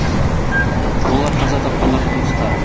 олар қаза тапқандардың туыстары